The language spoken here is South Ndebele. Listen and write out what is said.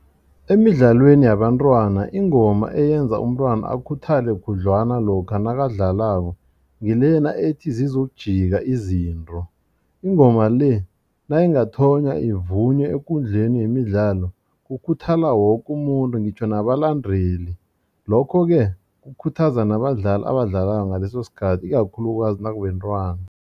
Emidlalweni yabantwana ingoma eyenza umntwana akhuthale khudlwana lokha nakadlalako ngilena ethi zizokujika izinto. Ingoma le nayingathonwa iimvunywe ekundleni yemidlalo kukhuthala woke umuntu ngitjho nabalandeli lokho ke kukhuthaza nabadlali abadlalako ngaleso sikhathi ikakhulukazi nakubentwana.